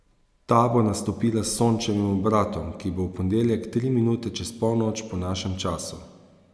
Ta bo nastopila s Sončevim obratom, ki bo v ponedeljek tri minute čez polnoč po našem času.